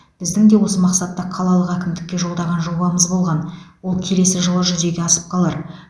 біздің де осы мақсатта қалалық әкімдікке жолдаған жобамыз болған ол келесі жылы жүзеге асып қалар